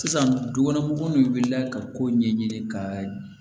Sisan du kɔnɔ mɔgɔw wulila ka ko ɲɛɲini ka ɲɛ